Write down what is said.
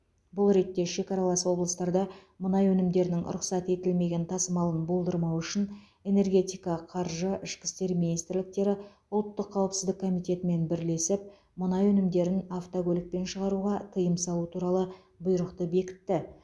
бұл ретте шекаралас облыстарда мұнай өнімдерінің рұқсат етілмеген тасымалын болдырмау үшін энергетика қаржы ішкі істер министрліктері ұлттық қауіпсіздік комитетімен бірлесіп мұнай өнімдерін автокөлікпен шығаруға тыйым салу туралы бұйрықты бекітті